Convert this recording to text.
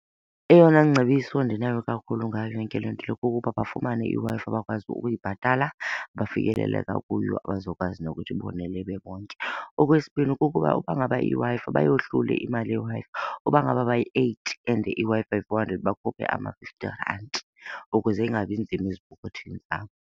Eyona ngcebiso ndinayo kakhulu ngayo yonke le nto le kukuba bafumane iWi-Fi bakwazi ukuyibhatala, bafikeleleka kuyo abazokwazi nokuthi ibonele bebonke. Okwesibini, kukuba uba ngaba iWi-Fi, bayohlule imali yeWi-Fi. Uba ngaba bayi-eight and iWi-Fi yi-four hundred bakhuphe ama-fifty ranti ukuze ingabi nzima ezipokothweni zabo.